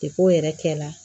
o yɛrɛ kɛla